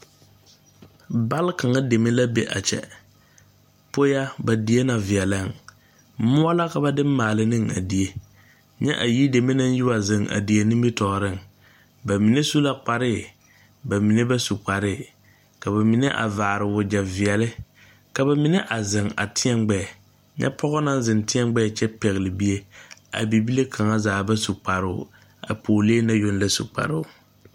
Balkaŋa deme la a de mʋɔ maale ne die. A yideme yiwaziŋ la a die nimitɔɔreŋ ka ba mine su kpar kyɛ ba mine meŋ ba su. Ba mine vaarɛɛ wagyɛre kyɛ ka ba mine ziŋ teɛ ba gbɛɛ. Pɔge ziŋ pɛgle la bie, bibilbonyeni yoŋ su kparoo